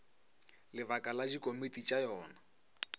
lebaka la dikomiti tša yona